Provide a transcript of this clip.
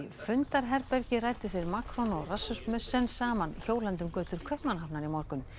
fundarherbergi ræddu þeir Macron og Rasmussen saman hjólandi um götur Kaupmannahafnar í morgun